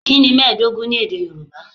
Kí ni mẹ́ẹ̀ẹ́dógún ní èdè Yorùbá?